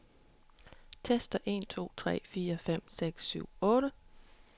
Tester en to tre fire fem seks syv otte.